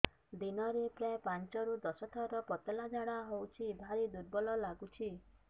ଦିନରେ ପ୍ରାୟ ପାଞ୍ଚରୁ ଦଶ ଥର ପତଳା ଝାଡା ହଉଚି ଭାରି ଦୁର୍ବଳ ଲାଗୁଚି